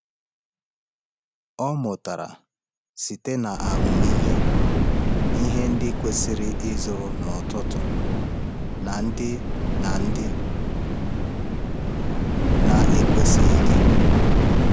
Ọ mụtara site na ahụmịhe ihe ndị kwesịrị ịzụrụ n’ọtụtù na ndị na ndị na-ekwesịghị.